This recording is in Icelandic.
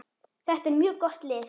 Þetta er mjög gott lið.